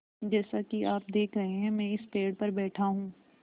जैसा कि आप देख रहे हैं मैं इस पेड़ पर बैठा हूँ